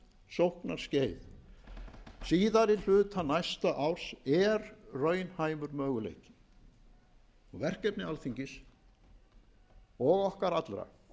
slíkt sóknarskeið síðari hluta næsta árs er raunhæfur möguleiki verkefni alþingis og okkar allra